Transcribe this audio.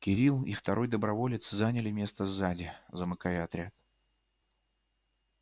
кирилл и второй доброволец заняли место сзади замыкая отряд